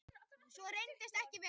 Svo reyndist ekki vera